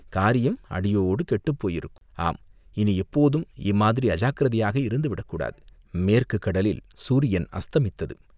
காரியம் அடியோடு கெட்டுப் போயிருக்கும், ஆம் இனி எப்போதும் இம்மாதிரி அஜாக்கிரதையாக இருந்துவிடக் கூடாது. மேற்குக் கடலில் சூரியன் அஸ்தமித்தது.